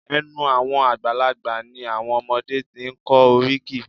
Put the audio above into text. Ẹ̀nu àwọn àgbàlagbà ni àwọn ọmọdé ti ń kọ́ oríkì